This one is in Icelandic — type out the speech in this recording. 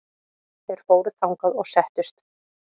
Þeir fóru þangað og settust.